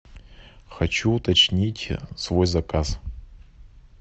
хочу уточнить свой заказ